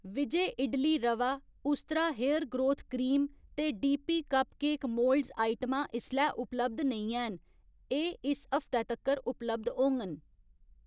Vijay idli rava, Ustraa hair growth cream ते D P cupcake moulds आइटमां इसलै उपलब्ध नेईं हैन, एह् इस हफ्तै तक्कर उपलब्ध होङन